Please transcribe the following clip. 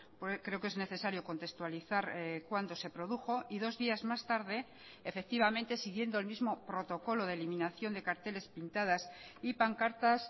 porque creo que es necesario contextualizar cuándo se produjo y dos días más tarde efectivamente siguiendo el mismo protocolo de eliminación de carteles pintadas y pancartas